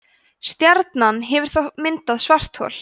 stjarnan hefur þá myndað svarthol